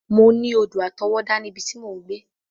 Mọ ní odò àtọwọ́dá ní ibi tí mò ń gbé.